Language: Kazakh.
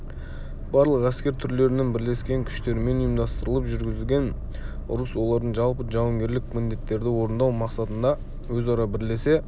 барлық әскер түрлерінің бірлескен күштерімен ұйымдастырылып жүргізілген ұрыс олардың жалпы жауынгерлік міндеттерді орындау мақсатында өзара бірлесе